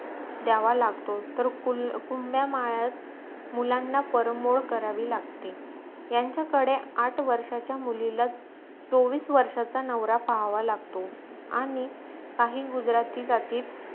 द्यावा लागतो तर हुंड्या माळ्यात मुलांना परंबळ करावी लागते यांचा कडे आठ वर्षाचा मुलीला चोवीस वर्षाचा नवरा पाहावा लागतो आणी काही गुजराती जातीत